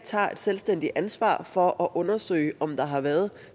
tager et selvstændigt ansvar for at undersøge om der har været